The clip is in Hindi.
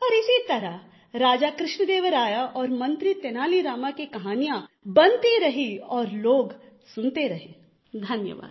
और इसी तरह राजा कृष्णदेवराय और मंत्री तेनाली रामा की कहानियाँ बनती रही और लोग सुनते रहे धन्यवाद